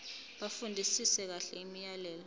bafundisise kahle imiyalelo